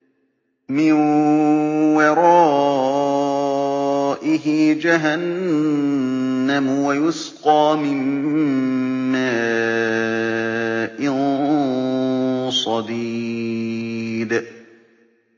مِّن وَرَائِهِ جَهَنَّمُ وَيُسْقَىٰ مِن مَّاءٍ صَدِيدٍ